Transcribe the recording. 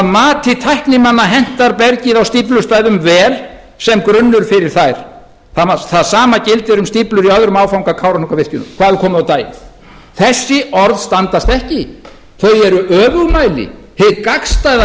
mati tæknimanna hentar bergið á stíflustæðum vel sem grunnur fyrir þær það sama gildir um stíflur í öðrum áfanga kárahnjúkavirkjunar hvað hefur komið á daginn þessi orð standast ekki þau eru öfugmæli hið gagnstæða